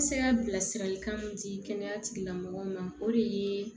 Se ka bilasiralikan mun di kɛnɛya tigilamɔgɔw ma o de ye